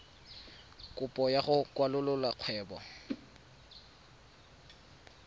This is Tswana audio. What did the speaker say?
kopo ya go kwalolola kgwebo